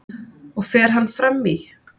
og fer hann fram í